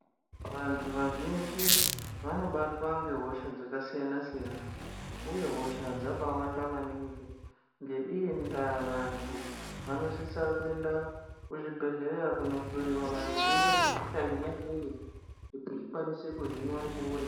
Vantu vazhinji vanobatwa ngehosha dzakasiyana-siyana, uye hosha dzabaawanda maningi. Ngeiyi ndaa, vantu vanosisa kuenda kuzvibhedhleya kunohloiwa maringe ngezvehosha yona iyoyo, kuti ikwanise kuhinwa mukuwo uripo.